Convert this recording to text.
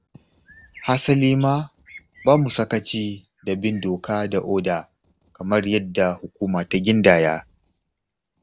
Hasali ma, ba mu sakaci da bin doka da oda kamar yadda hukuma ta gindaya.